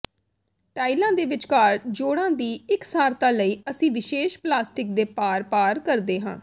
ਟਾਇਲਾਂ ਦੇ ਵਿਚਕਾਰ ਜੋੜਾਂ ਦੀ ਇਕਸਾਰਤਾ ਲਈ ਅਸੀਂ ਵਿਸ਼ੇਸ਼ ਪਲਾਸਟਿਕ ਦੇ ਪਾਰ ਪਾਰ ਕਰਦੇ ਹਾਂ